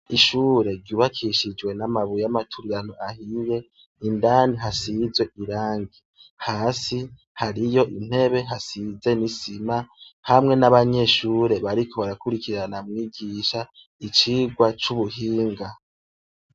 Ishure ryubakishijwe n'amabuye y'amaturirano ahiye, indani hasizwe irangi. Hasi hariyo intebe hasize n'isima hamwe n'abanyeshure bariko barakurikirana mwigisha icigwa c'ubuhinga.